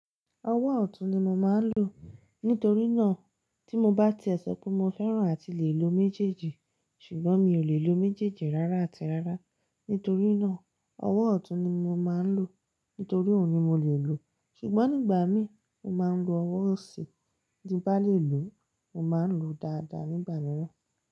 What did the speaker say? Ọwọ́ ọ̀tún ni mo máa ń lò. Nítorí náà tí mo bá ti ẹ sọ pé mo fẹ́ràn àti lè lo méjèèjì, ṣùgbọ́n mi ò lè lo méjèèjì rárá àti rárá. Nítorí náà, ọwọ́ ọ̀tún ni mo máa ń lò. Nítorí òun ni mo lè lò. Ṣùgbọ́n nígbà mí, mo máa ń lo ọwọ́ òsì tí bá lè lò, mo máa ń lo dáadáa nígbà mìíràn.